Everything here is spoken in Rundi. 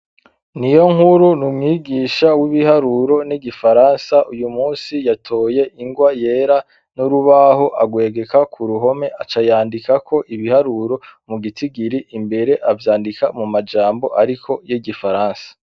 Niyonkuru ni umwigisha w'ibiharuro n'igifaransa. Uyu munsi yatoye ingwa yera n'urubaho agwegeka ku ruhome acayandikako ibiharuro mu gitigiri imbere avyandika mu majambo ariko y'igifaransa.